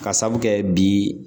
Ka sabu kɛ bi